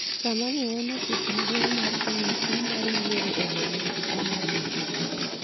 sama ne en e ofis maduong' mar komiti mar yiero e boma Homabay